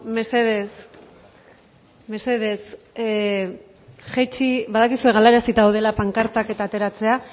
mesedez mesedez jaitsi badakizue galarazi daudela pankartak eta ateratzea